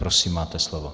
Prosím, máte slovo.